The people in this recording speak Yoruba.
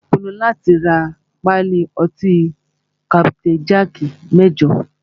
Ó pinnu láti rá pálí ọtí kapitain jaaki mẹ́jọ.